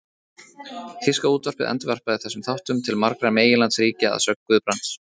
Þýska útvarpið endurvarpaði þessum þáttum til margra meginlandsríkja að sögn Guðbrands.